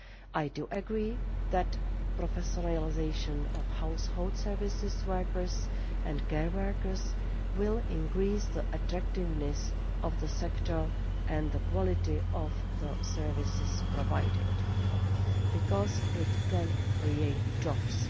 I agree that the professionalisation of household service workers and care workers will increase the attractiveness of the sector and the quality of the service provided because it can create jobs.